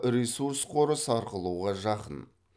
ресурс қоры сарқылуға жакын